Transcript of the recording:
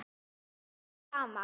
Alltaf það sama.